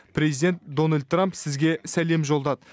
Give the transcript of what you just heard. президент дональд трамп сізге сәлем жолдады